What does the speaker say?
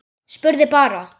Spurði bara.